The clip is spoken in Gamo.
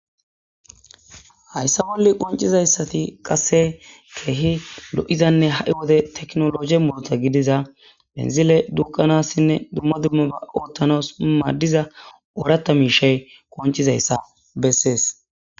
Hayssa bolle qoncizayssati qasse keehi lo'izanne ha'i wode teknolog molota gidiza penzile duqanassinne dumma dummaba oottanos maaddiza ooratta mishay qoncizayssa bessees.